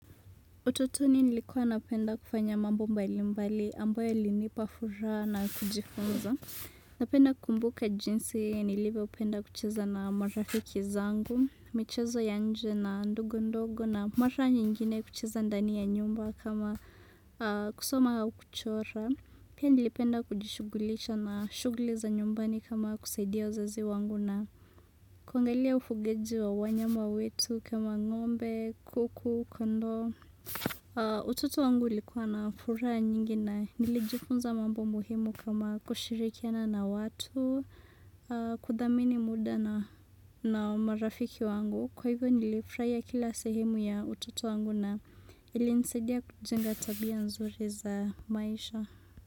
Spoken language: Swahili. Utotoni nilikuwa napenda kufanya mambo mbalimbali ambayo yaliinipa furaha na kujifunza. Napenda kukumbuka jinsi nilivyopenda kucheza na marafiki zangu, michezo ya nje na ndogo ndogo na mara nyingine kucheza ndani ya nyumba kama kusoma au kuchora. Pia nilipenda kujishughulisha na shughuli za nyumbani kama kusaidia wazazi wangu na kuangalia ufugaji wa wanyama wetu kama ng'ombe, kuku, kondoo. Hivyo, utoto wangu ulikuwa na furaha nyingi na nilijifunza mambo muhimu kama kushirikiana na watu, kudhamini muda na marafiki wangu. Kwa hivyo, nilifurahia kila sehemu ya utoto wangu na ilinisaidia kujenga tabia nzuri za maisha.